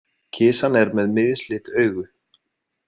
Kisan er með mislit augu.